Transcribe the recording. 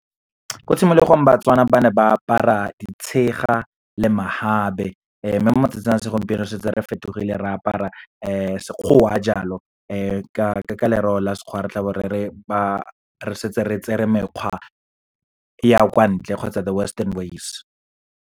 Ko tshimologong, BaTswana ba ne ba apara ditshega le , mme mo matsatsing a segompieno, setse re fetogile re apara sekgowa jalo. Ka lereo la Sekgowa, re tla bo re re re setse re tsere mekgwa ya kwa ntle, kgotsa the western ways.